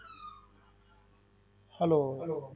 Hello hello